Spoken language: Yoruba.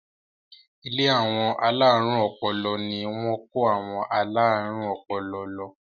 Ilé àwọn alárùn ọpọlọ ni wọ́n kó àwọn alárùn ọpọlọ lọ.